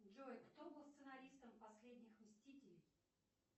джой кто был сценаристом последних мстителей